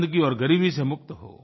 गन्दगी और ग़रीबी से मुक्त हो